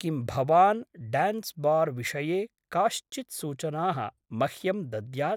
किं भवान् ड्यान्स्‌बार् विषये काश्चित् सूचनाः मह्यं दद्यात्?